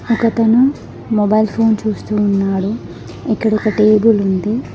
ఒకతను mobile phone చూస్తూ ఉన్నాడు ఇక్కడొక టేబుల్ ఉంది.